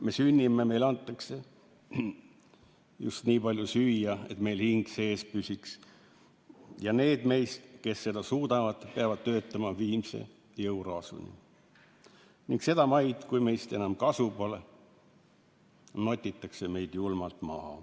Me sünnime, meile antakse just nii palju süüa, et meil hing sees püsiks, ja need meist, kes seda suudavad, peavad töötama viimase jõuraasuni, ning sedamaid, kui meist enam kasu pole, notitakse meid julmalt maha.